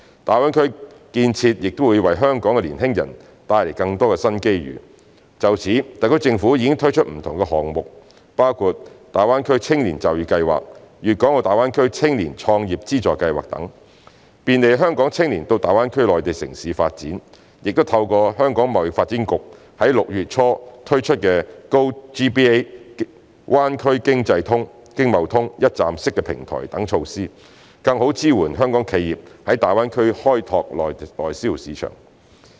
大灣區建設亦會為香港的年輕人帶來更多新機遇。就此，特區政府已推出不同項目，包括大灣區青年就業計劃、粵港澳大灣區青年創業資助計劃等，便利香港青年到大灣區內地城市發展；亦透過香港貿易發展局在6月初推出的 GoGBA" 灣區經貿通"一站式平台等措施，更好支援香港企業在大灣區開拓內銷市場。